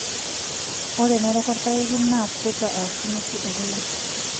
Ore enerok olpayeki naa kwata aashu nusu e kule.